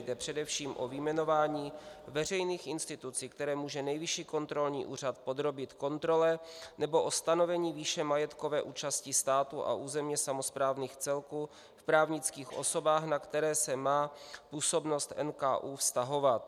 Jde především o vyjmenování veřejných institucí, které může Nejvyšší kontrolní úřad podrobit kontrole, nebo o stanovení výše majetkové účasti státu a územně samosprávných celků v právnických osobách, na které se má působnost NKÚ vztahovat.